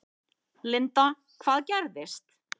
Linda: Hvað gerðist?